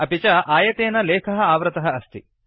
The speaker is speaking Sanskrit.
अपि च आयतेन लेखः आवृतः अस्ति